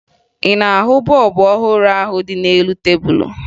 Ị na-ahụ bọọbụ ọhụrụ ahụ dị n'elu tebulu?